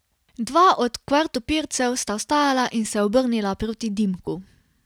Dva od kvartopircev sta vstala in se obrnila proti Dimku.